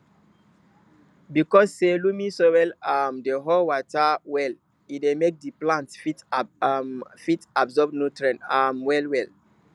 because say loamy soil um dey hold water well e dey make the plants um fit absorb nutrients um well well